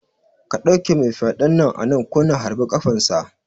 Ka ɗauke mai fyaɗen nan anan ko na harbi ƙafan sa